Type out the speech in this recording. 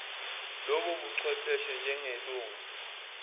lobo buchwepheshe njengelunga